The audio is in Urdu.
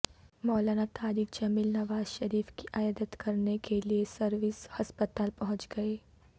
مولانا طارق جمیل نوازشریف کی عیادت کر نے کیلئے سروسز ہسپتال پہنچ گئے